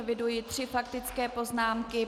Eviduji tři faktické poznámky.